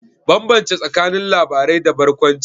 Bambance tsakanin labarai da barkwanci.